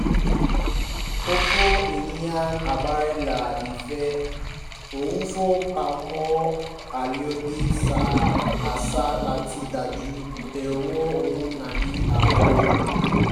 ọ̀pọ̀ ènìyàn ń gbára lé ilé ìfowópamọ́ àìlòdì sí àṣà láti dájú pé owó wọn wà ní ààbò